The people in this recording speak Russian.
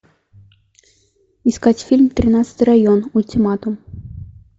искать фильм тринадцатый район ультиматум